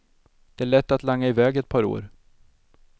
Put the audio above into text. Det är lätt att langa iväg ett par år.